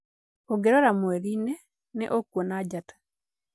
"Ũngĩrora mweri-inĩ, nĩ ũkuona njata.